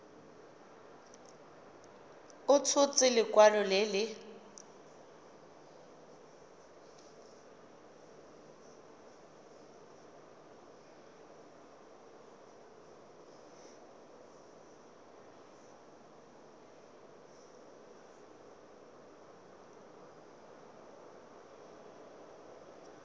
a tshotse lekwalo le le